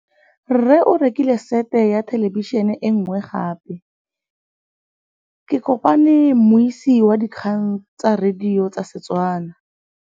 Rre o rekile sete ya thêlêbišênê e nngwe gape. Ke kopane mmuisi w dikgang tsa radio tsa Setswana.